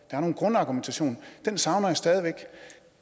der er en grundargumentation den savner jeg stadig væk